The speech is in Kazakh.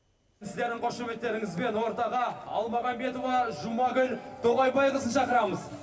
сіздердің қошеметтеріңізбен ортаға әлмағанбетова жұмагүл тоғайбайқызын шақырамыз